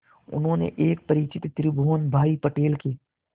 उन्होंने एक परिचित त्रिभुवन भाई पटेल के